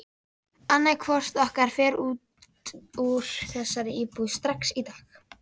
Annaðhvort okkar fer út úr þessari íbúð strax í dag!